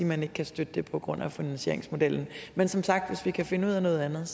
man ikke kan støtte det på grund af finansieringsmodellen men som sagt hvis vi kan finde ud af noget andet